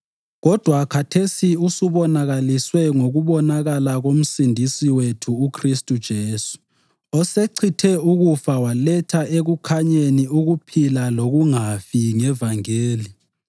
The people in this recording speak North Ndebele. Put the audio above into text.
kodwa khathesi usubonakaliswe ngokubonakala koMsindisi wethu uKhristu Jesu, osechithe ukufa waletha ekukhanyeni ukuphila lokungafi ngevangeli.